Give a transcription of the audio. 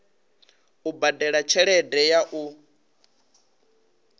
u badela tshelede ya u